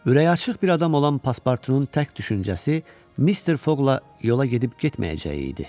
Ürəyi açıq bir adam olan Paspurtunun tək düşüncəsi Mister Foqla yola gedib-getməyəcəyi idi.